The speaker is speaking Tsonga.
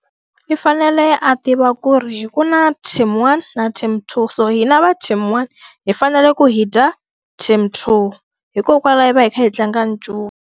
I fanele a tiva ku ri ku na team one na team two. So hi na va team one, hi fanele ku hi dya team two, hikokwalaho hi va hi kha hi tlanga ncuva.